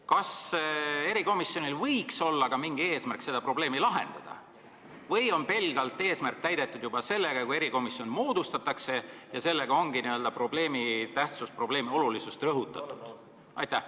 Kas erikomisjonil võiks olla ka eesmärk seda probleemi lahendada või on eesmärk täidetud juba pelgalt sellega, kui erikomisjon moodustatakse ning sellega ongi probleemi tähtsust ja olulisust rõhutatud?